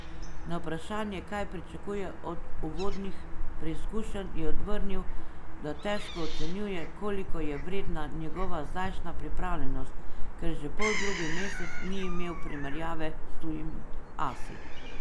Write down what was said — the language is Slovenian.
Na vprašanje, kaj pričakuje od uvodnih preizkušenj, je odvrnil, da težko ocenjuje, koliko je vredna njegova zdajšnja pripravljenost, ker že poldrugi mesec ni imel primerjave s tujimi asi.